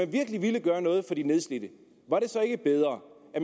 virkelig ville gøre noget for de nedslidte var det så ikke bedre at